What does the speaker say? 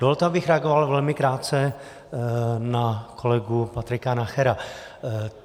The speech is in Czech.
Dovolte, abych reagoval velmi krátce na kolegu Patrika Nachera.